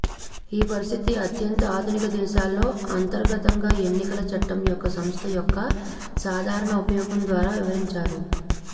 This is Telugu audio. ఈ పరిస్థితి అత్యంత ఆధునిక దేశాల్లో అంతర్గతంగా ఎన్నికల చట్టం యొక్క సంస్థ యొక్క సాధారణ ఉపయోగం ద్వారా వివరించారు